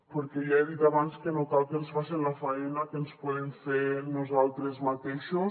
perquè ja he dit abans que no cal que ens facen la faena que ens podem fer nosaltres mateixos